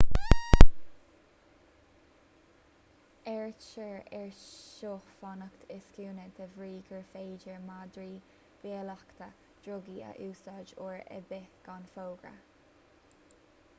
áirítear air seo fanacht i scuaine de bhrí gur féidir madraí bolaíochta drugaí a úsáid uair ar bith gan fógra